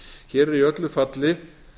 hér er í öllu falli